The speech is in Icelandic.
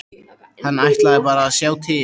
Hann ætlaði bara að sjá til.